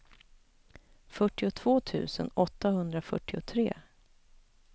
fyrtiotvå tusen åttahundrafyrtiotre